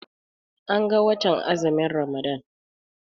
An ga watan azumin Ramadan.